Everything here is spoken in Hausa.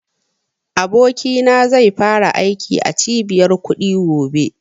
Abokina zai fara aiki a cibiyar kuɗi gobe